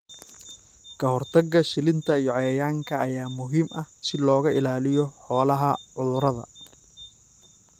Ka-hortagga shilinta iyo cayayaanka ayaa muhiim ah si looga ilaaliyo xoolaha cudurrada.